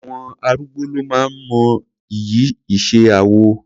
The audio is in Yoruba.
Àwọn arúgbó ló máa ń mọ iyì iṣẹ́ awọ.